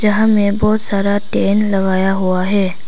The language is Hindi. यहां में बहुत सारा टेन लगाया हुआ है।